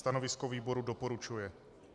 Stanovisko výboru - doporučuje.